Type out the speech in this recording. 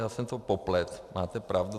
Já jsem to popletl, máte pravdu.